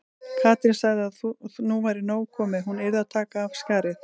Katrín sagði að nú væri nóg komið, hún yrði að taka af skarið.